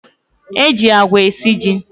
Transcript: E ji agwa esi ji.